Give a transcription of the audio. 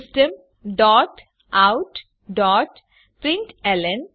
system dot out dot println